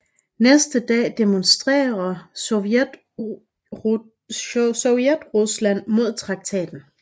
Næste dag demonstrerer Sovjetrusland mod traktaten